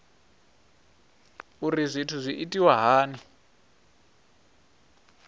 uri zwithu zwi itwa hani